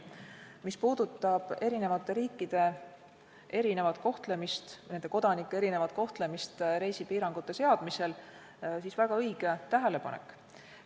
Mis puudutab eri riikide erinevat kohtlemist, nende kodanike erinevat kohtlemist reisipiirangute seadmisel, siis see on väga õige tähelepanek.